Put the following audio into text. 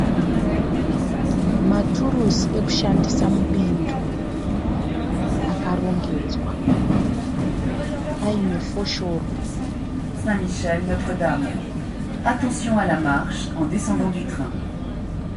Maturusi ekushandisa mubindu akarongedzwa, paine foshoro.